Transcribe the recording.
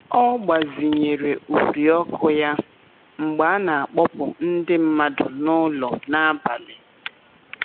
Ọ gbazinyere uri ọkụ ya mgbe a na-akpọpụ ndị mmadụ n'ụlọ n'abalị.